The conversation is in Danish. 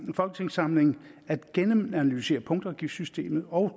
folketingssamling at gennemanalysere punktafgiftssystemet og